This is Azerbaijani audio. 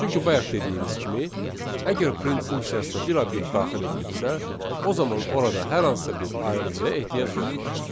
Çünki bayaq dediyimiz kimi, əgər print funksiyasına bir obyekt daxil edilibsə, o zaman orada hər hansısa bir ayırıcıya ehtiyac yoxdur.